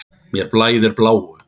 Mér blæðir bláu.